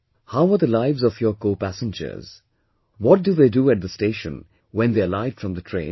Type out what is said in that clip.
How are the lives of your co passengers, what do they do at the station when they alight from the train